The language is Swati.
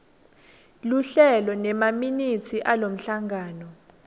luhlelo nemaminithi alomhlangano